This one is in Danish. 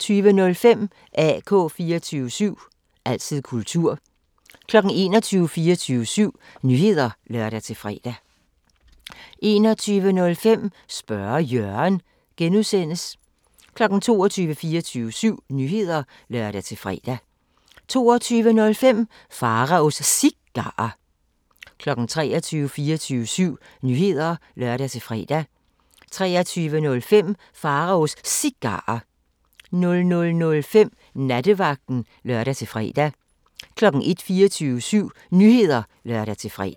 20:05: AK 24syv – altid kultur 21:00: 24syv Nyheder (lør-fre) 21:05: Spørge Jørgen (G) 22:00: 24syv Nyheder (lør-fre) 22:05: Pharaos Cigarer 23:00: 24syv Nyheder (lør-fre) 23:05: Pharaos Cigarer 00:05: Nattevagten (lør-fre) 01:00: 24syv Nyheder (lør-fre)